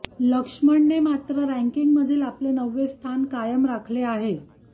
लक्ष्मणने मात्र रँकिंगमधील आपले नववे स्थान कायम राखले आहे